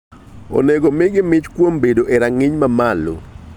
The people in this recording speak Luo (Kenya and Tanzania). Onego omigi mich kuom bedo e rang'iny mamalo.